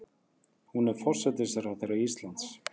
Hún er forsætisráðherra Íslands.